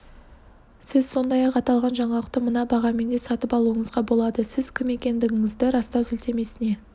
сіз сондай-ақ аталған жаңалықты мына бағамен де сатып алуыңызға болады сіз кім екендігіңізді растау сілтемесіне